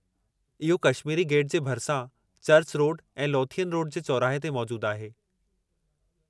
इहो कश्मीरी गेट जे भरिसां, चर्च रोड ऐं लोथियन रोड जे चौराहे ते मौजूदु आहे।